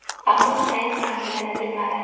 Ammo sayt manzilini bilmadi.